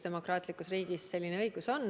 Demokraatlikus riigis selline õigus on.